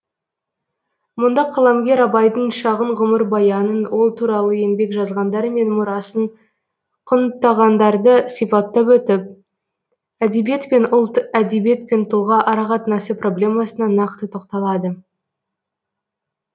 мұнда қаламгер абайдың шағын ғұмырбаянын ол туралы еңбек жазғандар мен мұрасын құнттағандарды сипаттап өтіп әдебиет пен ұлт әдебиет пен тұлға арақатынасы проблемасына нақты тоқталады